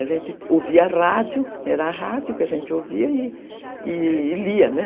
A gente ouvia rádio, era a rádio que a gente ouvia e lia, né?